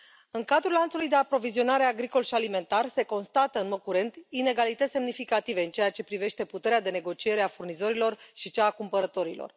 În cadrul lanțului de aprovizionare agricol și alimentar se constată, în mod curent, inegalități semnificative în ceea ce privește puterea de negociere a furnizorilor și cea a cumpărătorilor.